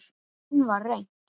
Enn var reynt.